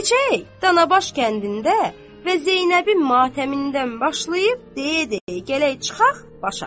Keçək Danabaş kəndində və Zeynəbin matəmindən başlayıb deyə-deyə gələk çıxaq başa.